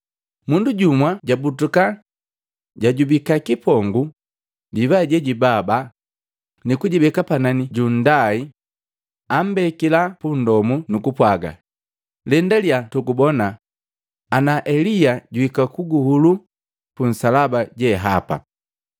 Mundu jumu jabutuka, jajubika kipongu divai jejibaba, nukujibeka panani ja nndai, ambekila pundomu nukupwaga, “Lendalya tugubona ana Elia juhika kuguhuluu punsalaba jehapa!”